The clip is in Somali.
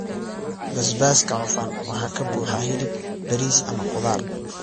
Basbaaska cufan waxaa ka buuxa hilib, bariis, ama khudaar.